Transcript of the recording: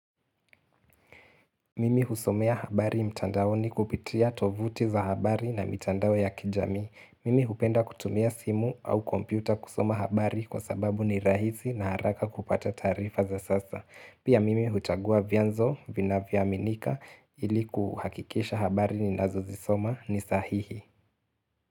Mimi husomea habari mtandaoni kupitia tovuti za habari na mitandao ya kijamii. Mimi hupenda kutumia simu au kompyuta kusoma habari kwa sababu ni rahisi na haraka kupata taarifa za sasa. Pia mimi hutagua vyanzo vinavyoaminika ili kuhakikisha habari ninazo zisoma ni sahihi.